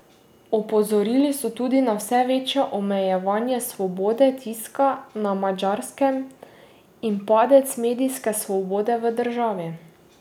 Opozorili so tudi na vse večje omejevanje svobode tiska na Madžarskem in padec medijske svobode v državi.